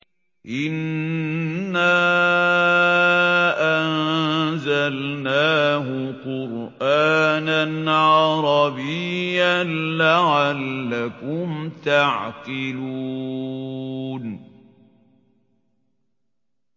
إِنَّا أَنزَلْنَاهُ قُرْآنًا عَرَبِيًّا لَّعَلَّكُمْ تَعْقِلُونَ